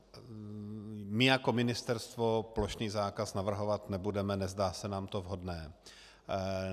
My jako Ministerstvo plošný zákaz navrhovat nebudeme, nezdá se nám to vhodné.